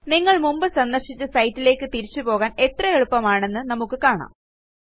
നിങ്ങൾ മുമ്പ് സന്ദർശിച്ച സൈറ്റിലേയ്ക്ക് തിരിച്ചുപോകാൻ എത്ര എളുപ്പമാണെന്ന് നമുക്ക് കാണാം